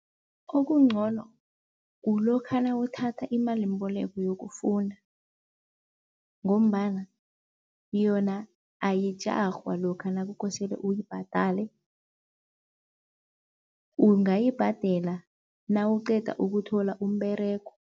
Okungcono kulokha nawuthatha imalimboleko yokufunda ngombana yona ayijarhwa lokha nakukosele uyibhadale, ungayibhadela nawuqeda ukuthola umberego.